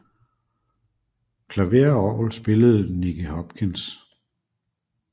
Klaver og orgel spillede Nicky Hopkins